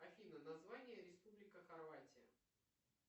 афина название республика хорватия